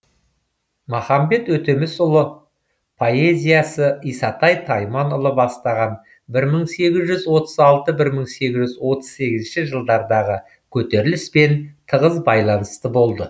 махамбет өтемісулы поэзиясы исатай тайманұлы бастаған бір мың сегіз жүз отыз алты бір мың сегіз жүз отыз сегізінші жылдардағы көтеріліспен тығыз байланысты болды